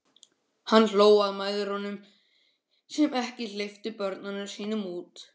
Hann hló að mæðrunum sem ekki hleyptu börnunum sínum út.